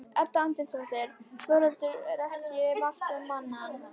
Edda Andrésdóttir: Þórhildur, er ekki margt um manninn?